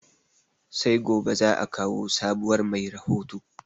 Sai gobe zaa kawo sabuwar mai rahoto